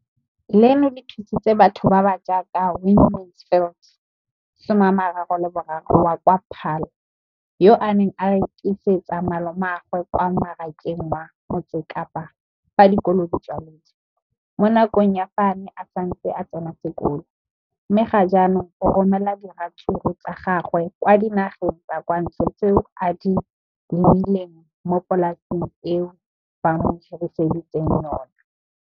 Leno le thusitse batho ba ba jaaka Wayne Mansfield, 33, wa kwa Paarl, yo a neng a rekisetsa malomagwe kwa Marakeng wa Motsekapa fa dikolo di tswaletse, mo nakong ya fa a ne a santse a tsena sekolo, mme ga jaanong o romela diratsuru tsa gagwe kwa dinageng tsa kwa ntle tseo a di lemileng mo polaseng eo ba mo hiriseditseng yona.